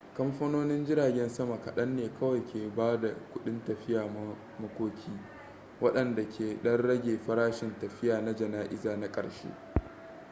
kamfanonin jiragen sama kaɗan ne kawai ke ba da kudin tafiya makoki waɗanda ke ɗan rage farashin tafiya na jana'iza na ƙarshe